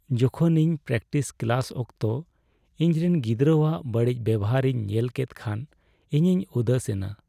ᱡᱚᱠᱷᱚᱱ ᱤᱧ practice class ᱚᱠᱛᱚ ᱤᱧ ᱨᱮᱱ ᱜᱤᱫᱽᱨᱟᱹᱣᱟᱜ ᱵᱟᱹᱲᱤᱡ ᱵᱮᱣᱦᱟᱨ ᱤᱧ ᱧᱮᱞ ᱠᱮᱫ ᱠᱷᱟᱱ ᱤᱧᱤᱧ ᱩᱫᱮᱥᱮᱱᱟ ᱾